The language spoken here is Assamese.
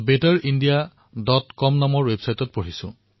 মই thebetterindiacom ৱেবছাইটত সমাজক উৎসাহিত কৰা তেওঁৰ এনে বহু কথা পঢ়িছোঁ